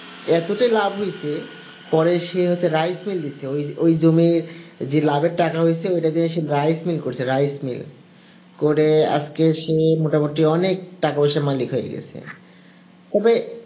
এতটাই লাভ হইছে পরে সে হচ্ছে rice mill ওই জমি যে লাভের টাকা হয়েছে ওটা দিয়ে rice mil করছে, rice mill করে আজকে সে মোটামুটি অনেক টাকা-পয়সার মালিক হয়ে গেছে তবে